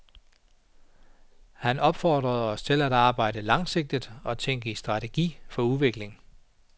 Han opfordrede os til at arbejde langsigtet og tænke i strategier for udvikling.